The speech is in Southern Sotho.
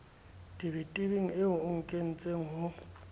tebetebeng eo o nkentseng ho